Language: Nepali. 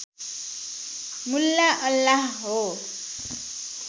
मुल्ला अल्लाह हो